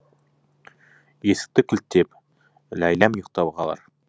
есікті кілттеп ләйләм ұйықтап қалар